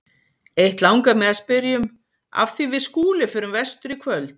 Eitt langar mig að spyrja um, af því við Skúli förum vestur í kvöld.